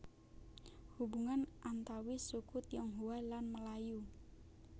Hubungan antawis suku Tionghoa lan Melayu